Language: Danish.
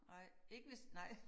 Nej ikke hvis nej